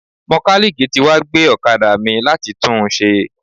Mọ́kálíìkì tí wá gbé ọ̀kadà mi láti tún un ṣe.